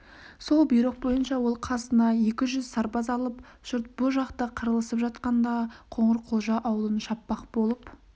сол бұйрық бойынша ол қасына екі жүз сарбаз алып жұрт бұ жақта қырылысып жатқанда қоңырқұлжа аулын шаппақ болып